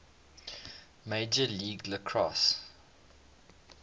major league lacrosse